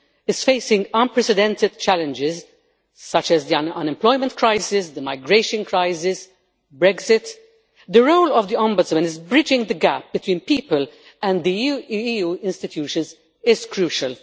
is facing unprecedented challenges such as the unemployment crisis, the migration crisis, Brexit the role of the Ombudsman in bridging the gap between people and the EU institutions is crucial.